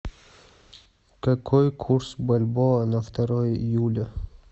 какой курс бальбоа на второе июля